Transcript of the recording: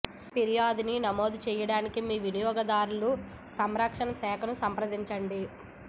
ఫిర్యాదుని నమోదు చేయడానికి మీ వినియోగదారుల సంరక్షణ శాఖను సంప్రదించండి